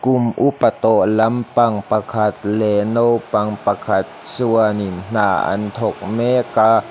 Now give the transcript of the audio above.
kum upa tawh lampang pakhat leh naupang pakhat chuanin hna an thawk mek a.